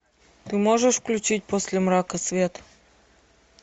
ты можешь включить после мрака свет